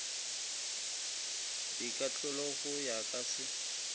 dikahlolo go ya ka se